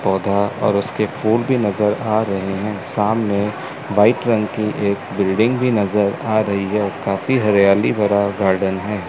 पौधा और उसके फूल भी नजर आ रहे हैं सामने व्हाइट रंग की एक बिल्डिंग भी नजर आ रही है काफी हरियाली भरा गार्डन है।